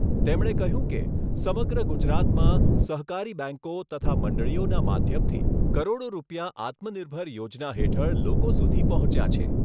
તેમણે કહ્યું કે, સમગ્ર ગુજરાતમાં સહકારી બેંકો તથા મંડળીઓના માધ્યમથી કરોડો રૂપિયા આત્મનિર્ભર યોજના હેઠળ લોકો સુધી પહોંચ્યા છે.